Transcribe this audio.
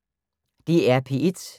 DR P1